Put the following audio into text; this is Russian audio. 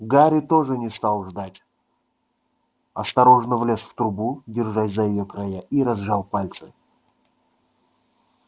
гарри тоже не стал ждать осторожно влез в трубу держась за её края и разжал пальцы